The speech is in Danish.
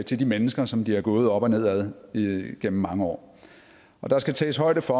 til de mennesker som de har gået op og ned ad igennem mange år og der skal tages højde for